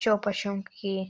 что почём какие